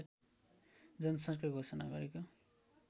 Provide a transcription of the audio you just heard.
जनसरकार घोषणा गरेका